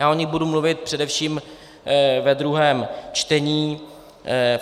Já o nich budu mluvit především ve druhém čtení.